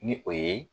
Ni o ye